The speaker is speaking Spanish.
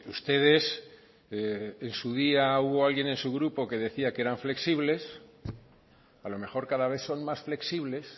ustedes en su día hubo alguien en su grupo que decía que eran flexibles a lo mejor cada vez son más flexibles